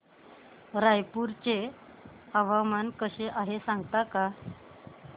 रायपूर चे हवामान कसे आहे सांगता का